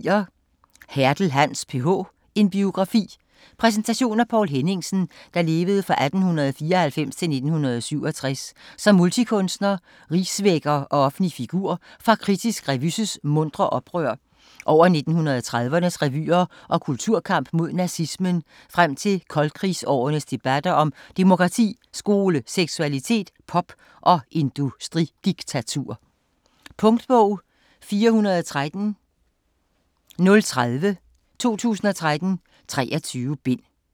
Hertel, Hans: PH - en biografi Præsentation af Poul Henningsen (1894-1967) som multikunstner, rigsvækker og offentlig figur fra Kritisk Revy's muntre oprør over 1930'ernes revyer og kulturkamp mod nazismen frem til koldkrigsårenes debatter om demokrati, skole, seksualitet, pop og industridiktatur. Punktbog 413030 2013. 23 bind.